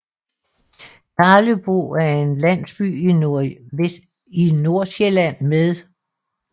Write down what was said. Karlebo er en landsby i Nordsjælland med